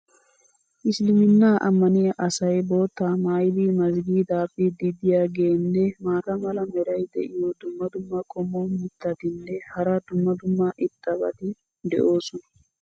issiliminaa ammaniya asay boottaa maayidi mazgiidaa biidi diyaageenne maata mala meray diyo dumma dumma qommo mitattinne hara dumma dumma irxxabati de'oosona.